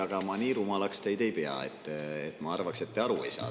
Aga ma nii rumalaks teid ei pea, et ma arvaks, et te aru ei saa.